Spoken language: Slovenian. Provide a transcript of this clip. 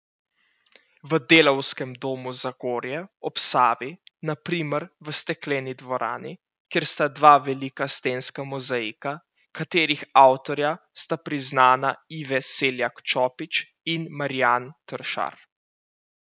V Delavskem domu Zagorje ob Savi na primer v stekleni dvorani, kjer sta dva velika stenska mozaika, katerih avtorja sta priznana Ive Seljak Čopič in Marijan Tršar.